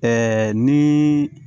ni